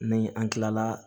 Ni an kilala